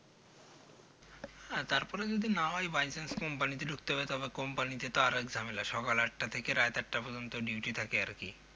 হ্যাঁ তারপরে যদি না হয় Bychance company তে ঢুকতে হবে তারপর কোম্পানিতে তো আরেক ঝামেলা সকাল আটটা থেকে রাত আটটা পর্যন্ত Duty থাকে আরকি